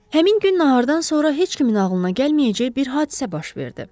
Həmin gün nahardan sonra heç kimin ağlına gəlməyəcək bir hadisə baş verdi.